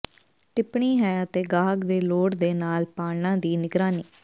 ਟਿੱਪਣੀ ਹੈ ਅਤੇ ਗਾਹਕ ਦੇ ਲੋੜ ਦੇ ਨਾਲ ਪਾਲਣਾ ਦੀ ਨਿਗਰਾਨੀ